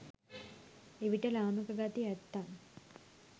එවිට ලාමක ගති ඇත්තන්